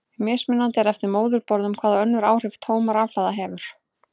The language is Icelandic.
Mismunandi er eftir móðurborðum hvaða önnur áhrif tóm rafhlaða hefur.